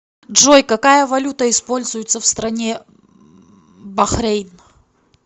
джой какая валюта используется в стране бахрейн